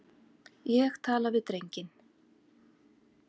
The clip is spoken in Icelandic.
Ég tala við drenginn.